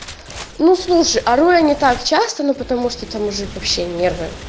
ну слушай ору я не так часто но потому что там уже вообще нервы